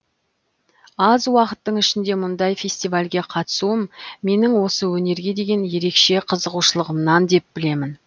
аз уақыттың ішінде мұндай фестивальге қатысуым менің осы өнерге деген ерекше қызығушылығымнан деп білемін